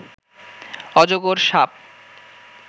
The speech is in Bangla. অজগর সাপ